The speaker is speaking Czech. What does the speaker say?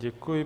Děkuji.